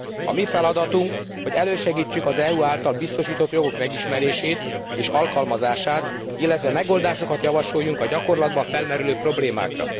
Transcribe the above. A mi feladatunk, hogy elősegítsük az EU által biztosított jogok megismerését és alkalmazását, illetve megoldásokat javasoljunk a gyakorlatban felmerülő problémákra.